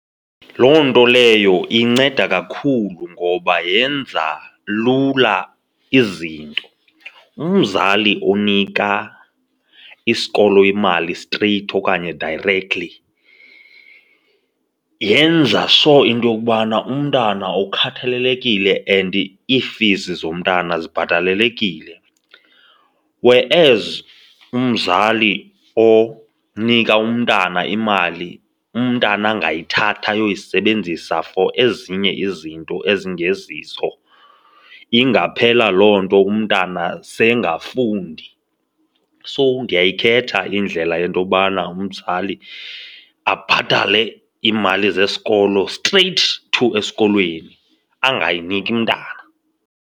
Loo nto leyo inceda kakhulu ngoba yenza lula izinto. Umzali onika isikolo imali straight okanye directly yenza sho into yokubana umntana ukhathalelekile and ii-fees zomntana zibhatalelekile. Whereas umzali onika umntana imali, umntana angayithatha ayoyisebenzisa for ezinye izinto ezingezizo. Ingaphela loo nto umntana seyingafundi. So ndingayikhetha indlela yento yobana umzali abhatale iimali zesikolo straight to esikolweni, angayiniki mntana.